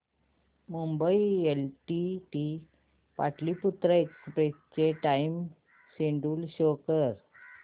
Mumbai LTT Pataliputra express चे time schedule show कर